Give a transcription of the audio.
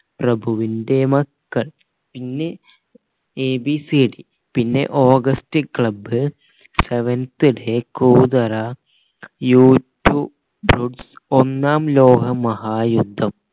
പപ്രഭുവിന്റെ മക്കൾ പിന്നെ a b c d പിന്നെ ഓഗസ്റ്റ് ക്ലബ് സെവൻത് ഡേ കൂതറ ഒന്നാം ലോക മഹായുദ്ധം